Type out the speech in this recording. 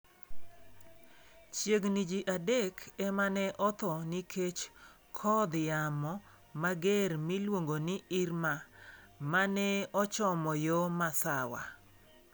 Chiegni ji adek ema ne otho nikech kodh yamo mager miluongo ni Irma, ma ne ochomo yo masawa.